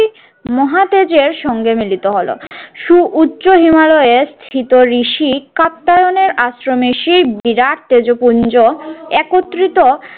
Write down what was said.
মহা তেজের সঙ্গে মিলিত হলো। সুউচ্চ হিমালয়ের স্থিত ঋষি কাত্তায়নের আশ্রমে সেই বিরাট তেজপুঞ্জ একত্রিত